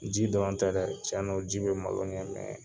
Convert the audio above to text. Ji dɔrɔn tɛ dɛ, tiɲɛ don ji bɛ malo ɲɛ